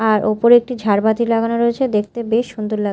আর ওপরে একটি ঝাড়বাতি লাগানো রয়েছে দেখতে বেশ সুন্দর লাগ--